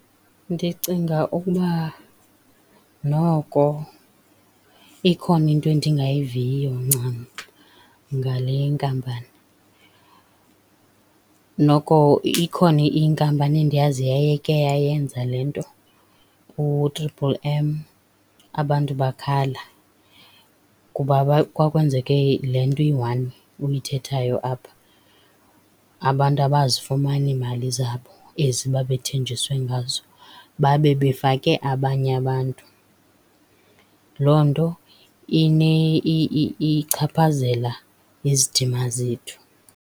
Ndicinga ukuba noko ikhona into endingayiviyo ncam ngale nkampani, noko ikhona inkampani endiyaziyo eyayike yayenza le nto, uTriple M, abantu bakhala kuba kwakwenzeke le nto iyi-one uyithethayo apha. Abantu abazifumana iimali zabo, ezi babethenjiswe ngazo, babe befake abanye abantu. Loo nto ichaphazela izidima zethu.